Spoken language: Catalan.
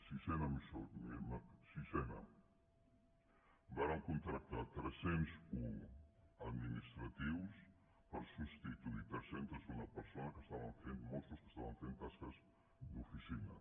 sise·na vàrem contractar tres·cents un administratius per substituir tres·centes una persones mossos que esta·ven fent tasques d’oficina